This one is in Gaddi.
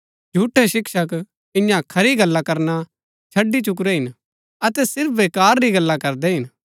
झूठै शिक्षक इन्या खरी गल्ला करना छड़ी चुकुरै हिन अतै सिर्फ वेकार री गल्ला करदै हिन